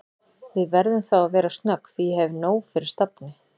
Við verðum þá að vera snögg því ég hef nóg fyrir stafni